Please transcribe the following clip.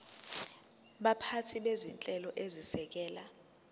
baphathi bezinhlelo ezisekela